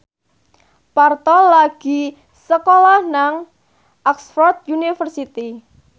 Parto lagi sekolah nang Oxford university